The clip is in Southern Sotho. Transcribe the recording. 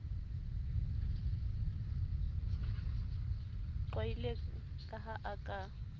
qwaile ka ha a ka